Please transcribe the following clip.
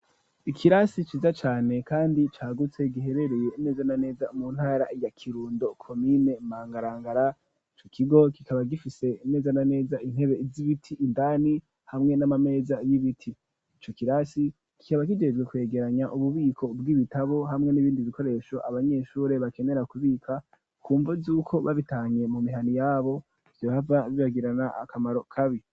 Ikirasi ciza cane kandi cagutse giherereye neza na neza mu ntara ya Kirundo komine Mangarangara icu kigo kikaba gifise neza na neza intebe z'ibiti indani hamwe n'amameza y'ibiti ico kirasi kikaba kijejwe kwegeranya ububiko bw'ibitabo hamwe n'ibindi bikoresho abanyeshure bakenera kubika kumvo zuko babitahanye mu mihana yabo yohava bibagirana akamaro kabi.